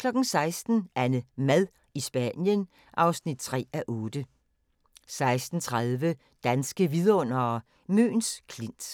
16:00: AnneMad i Spanien (3:8) 16:30: Danske vidundere: Møns Klint